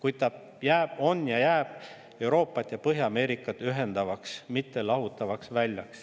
Ometi ta on ja jääb Euroopat ja Põhja-Ameerikat ühendavaks, mitte lahutavaks väljaks.